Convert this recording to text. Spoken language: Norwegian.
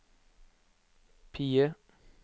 PIE